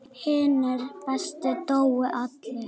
Hinir bestu dóu allir.